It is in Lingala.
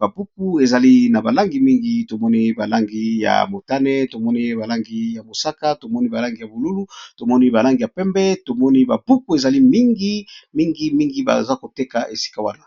ba buku ezali na ba langi mingi , to moni ba langi ya motane , tovmoni ba langi ya mosaka, to moni ba langi ya bolulu, to moni ba langi ya pembe, to moni ba buku ezali mingi mingi mingi baza ko teka esika wana .